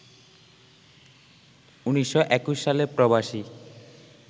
১৯২১ সালে প্রবাসী